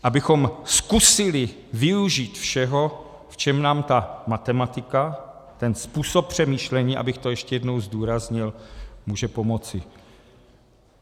Abychom zkusili využít všeho, v čem nám ta matematika, ten způsob přemýšlení, abych to ještě jedno zdůraznil, může pomoci.